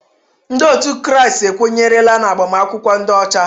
Ndị ọtú kraịst ekwenyerela n'agbamakwụkwọ ndị ọcha.